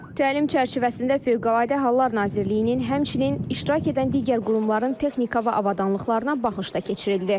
Təlim çərçivəsində Fövqəladə Hallar Nazirliyinin, həmçinin iştirak edən digər qurumların texnika və avadanlıqlarına baxış da keçirildi.